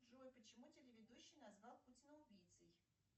джой почему телеведущий назвал путина убийцей